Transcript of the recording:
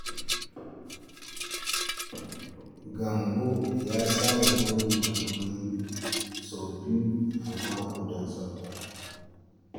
Gambo ya saba goge madubi sau biyu a mako don tsafta.